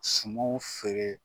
Sumanw feere